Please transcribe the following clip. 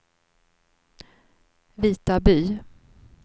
Vitaby